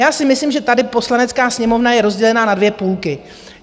Já si myslím, že tady Poslanecká sněmovna je rozdělená na dvě půlky.